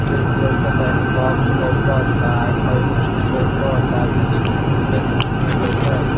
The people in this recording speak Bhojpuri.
टेंट लउकता एन्ही बॉक्स लउकता कईगो चीज लउकता नीचे खेत में लउकता।